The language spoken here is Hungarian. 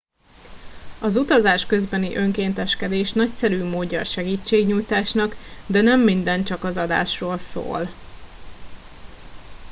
az utazás közbeni önkénteskedés nagyszerű módja a segítségnyújtásnak de nem minden csak az adásról szól